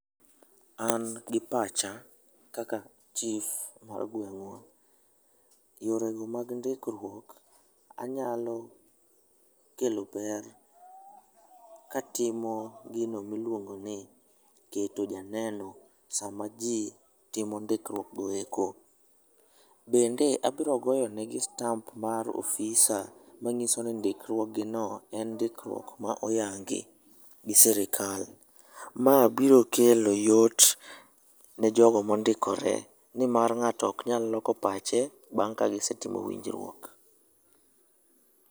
An gi pacha ,kaka chif mar gweng'wa, yorego mag ndikruok, anyalo kelo ber katimo gino miluongoni keto janeno sama ji timo ndikruokgo eko. Bende abiro goyo negi stamp mar ofisa manyiso ni ndikruog gino en ndikruok ma oyangi gi sirikal. Ma biro kelo yot ne jogo mondikore nimar ng'ato ok nyal loko pache bang' ka gisetimo winjruok.